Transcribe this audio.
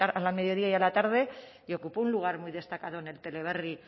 a la mediodía y a la tarde y ocupó un lugar muy destacado en el teleberri